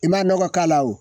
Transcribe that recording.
I m'a nɔgɔ k'a la o